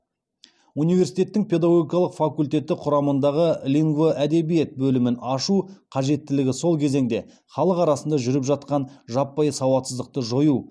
университеттің педагогикалық факультеті құрамындағы лингвоәдебиет бөлімін ашу қажеттілігі сол кезеңде халық арасында жүріп жатқан жаппай сауатсыздықты жою